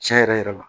Tiɲɛ yɛrɛ yɛrɛ la